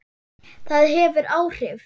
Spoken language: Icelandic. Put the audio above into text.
Það hefur áhrif.